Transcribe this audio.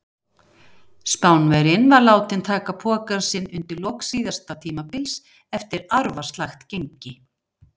Spánverjinn var látinn taka pokann sinn undir lok síðasta tímabils eftir arfaslakt gengi.